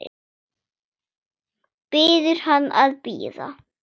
Biður hann að bíða.